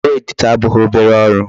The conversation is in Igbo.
Ọrụ editor abụghị obere ọrụ.